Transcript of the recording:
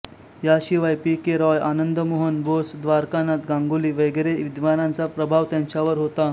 याशिवाय P K Roy Anandamohan Bose Dwarkanath Ganguly वगैरे विद्वानांचा प्रभाव त्यांच्यावर होता